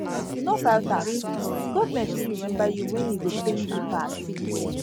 if you no file tax government fit remember you when e go pain you pass